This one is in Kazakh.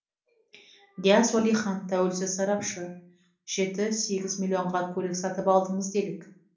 дияс уәлихан тәуелсіз сарапшы жеті сегіз миллионға көлік сатып алдыңыз делік